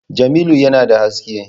Jamilu yana da haske